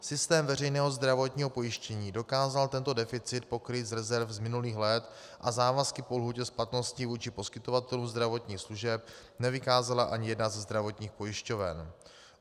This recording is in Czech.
Systém veřejného zdravotního pojištění dokázal tento deficit pokrýt z rezerv z minulých let a závazky po lhůtě splatnosti vůči poskytovatelům zdravotních služeb nevykázala ani jedna ze zdravotních pojišťoven.